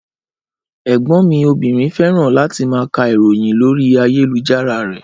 Ẹgbọn mi obìnrin fẹ́ràn láti má ká ìròyìn lórí ayélujára rẹ́